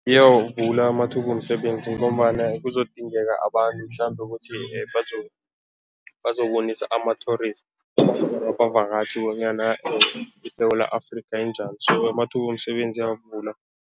Iyawavula amathuba womsebenzi ngombana kuzokudingeka abantu mhlambe ukuthi bazobonisa ama-tourists abavakatjhi bonyana iSewula Afrika injani so amathuba womsebenzi iyawavula.